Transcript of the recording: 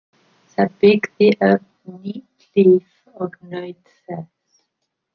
Það byggði upp nýtt líf og naut þess.